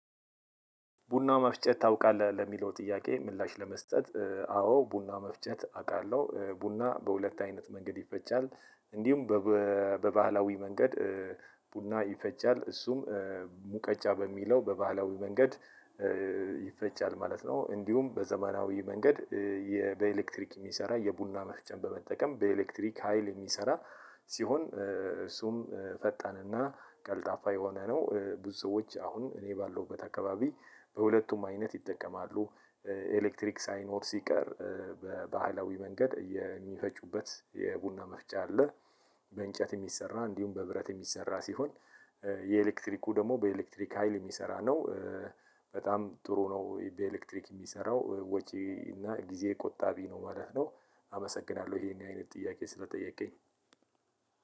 ቡና መፍጨት ታውቃለህ ለሚለው ጥያቄ ምላሽ ለመስጠት አዎ ቡና መፍጨት አውቃለሁ ቡና በሁለት አይነት መንገድ ይፈጫል እንዲሁም በባህላዊ መንገድ ቡና ይፈጫል እሱም ሙቀጫ በሚለው በባህላዊ መንገድ ይፈጫል ማለት ነው። እንዲሁም በዘመናዊ መንገድ በኤሌክትሪክ የሚሰራ የቡና መፍጫን በመጠቀም በኤሌክትሪክ ሀይል የሚሰራ ሲሆን እሱም ፈጣንና ቀልጣፋ የሆነ ነው። ብዙ ሰዎች አሁን እኔ ባለውበት አካባቢ በሁለቱም አይነት ይጠቀማሉ። ኤሌክትሪክ ሳይኖር ሲቀር በባህላዊ መንገድ የሚፈጩበት የቡና መፍጫ አለ። በእንጨት የሚሰራ እንዲሁም በብረት የሚሰራ ሲሆን የኤሌክትሪኩ ደግሞ በኤሌክትሪክ ሀይል የሚሰራ ነው። በጣም ጥሩ ነው በኤልትሪክ የሚሰራው ወጪ እና ጊዜ ቆጣቢ ነው ማለት ነው። አመሰናለው ይሄን አይነት ጥያቄ ሰለጠየከኝ